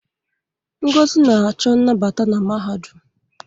Ngozi na-achọ nnabata na mahadum.